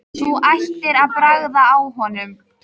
Þú ættir að bragða á honum